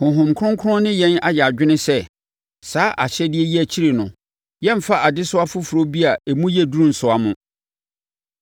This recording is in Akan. Honhom Kronkron ne yɛn ayɛ adwene sɛ, saa ahyɛdeɛ yi akyi no, yɛremfa adesoa foforɔ bi a emu yɛ duru nnsoa mo;